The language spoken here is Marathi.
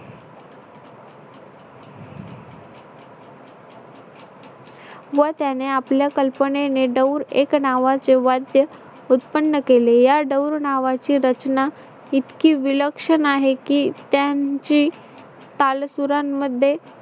व त्याने आपल्या कल्पनेने डौर एक नावाचे वाद्य उत्पन्न केले. या नावाची रचना इतकी विलक्षण आहे की त्यांची काल पुराणमध्ये